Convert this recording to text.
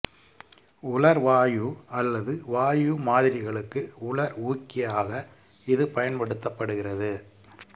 உலர் வாயு அல்லது வாயு மாதிரிகளுக்கு உலர் ஊக்கியாக இது பயன்படுத்தப்படுகிறது